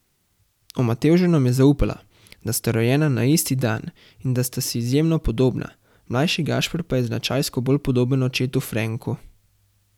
O Matevžu nam je zaupala, da sta rojena na isti dan in da sta si izjemno podobna, mlajši Gašper pa je značajsko bolj podoben očetu Frenku.